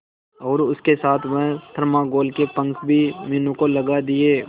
और उसके साथ वह थर्माकोल के पंख भी मीनू को लगा दिए